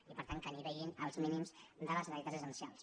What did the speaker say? i per tant que anivellin els mínims de les necessitats essencials